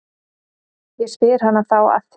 Ég spyr hana þá að því.